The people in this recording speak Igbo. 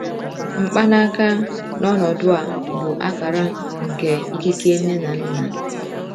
Mkpanaka, n’ọnọdụ a, bụ akara nke ikike nne na nna.